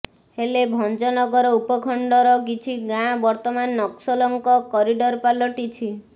ହେଲେ ଭଂଜନଗର ଉପଖଣ୍ଡର କିଛି ଗାଁ ବର୍ତମାନ ନକ୍ସଲଙ୍କ କରିଡ଼ର୍ ପାଲଟିଛି